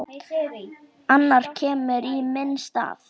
Annar kemur í minn stað.